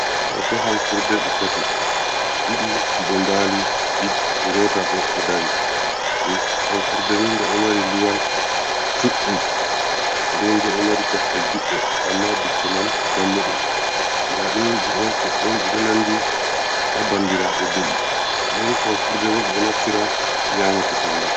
Hoto ham furde ɗi tati, ɗiɗi ɗo mbali, ɗii ngota bo ɗo dari ham furdani nde ɗo mari luwal juɗɗum, nden bo ɗo mari kosɗe juɗɗe, amma bicca man dammuɗum, ndaɗini ɗi ɗo ɗon ɗon ɗiɗo nandi, ha bandiraɓe nbe’i, nden ham furde bo, ɓe ɗo naftira nyama kusel man.